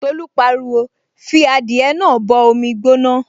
Tolú pariwo, 'fi adìẹ náà bọ omi gbóná